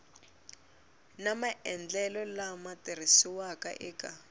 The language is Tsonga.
na maendlelo lama tirhisiwaka eka